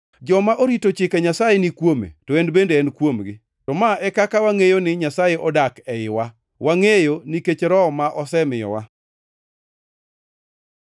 Joma orito chike Nyasaye ni kuome to en bende en kuomgi. To ma e kaka wangʼeyo ni Nyasaye odak eiwa: Wangʼeyo nikech Roho ma osemiyowa.